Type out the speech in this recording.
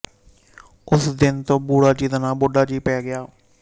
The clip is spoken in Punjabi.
ਉਸ ਦਿਨ ਤੋਂ ਬੂੜਾ ਜੀ ਦਾ ਨਾਂ ਬੁੱਢਾ ਜੀ ਪੈ ਗਿਆ